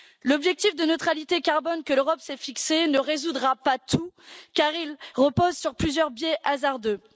L'objectif de neutralité carbone que l'Europe s'est fixé ne résoudra pas tout car il repose sur plusieurs biais hasardeux.